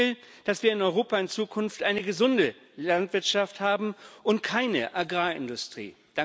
Ich will, dass wir in Europa in Zukunft eine gesunde Landwirtschaft haben und keine Agrarindustrie.